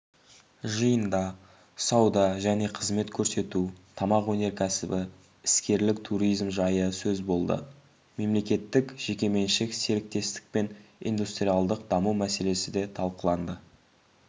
жиында сауда және қызмет көрсету тамақ өнеркәсібі іскерлік туризм жайы сөз болды мемлекеттік-жекеменшік серіктестік пен индустриалдық даму мәселесі де талқыланды